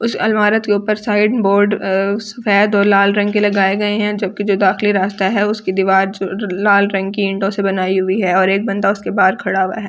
उस अलमरत के ऊपर साइन बोर्ड सफ़ेद और लाल रंग के लगाये गये है जो की रास्ता है उसकी दीवार लाल रंग की विंडो से बनायी हुई है और एक बंदा उसके बाहर खड़ा हुआ है।